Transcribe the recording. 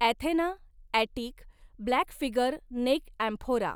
Athena, Attic black figure neck amphora.